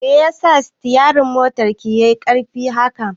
Me yasa sitiyari ɗin motar ki yai ƙarfi haka?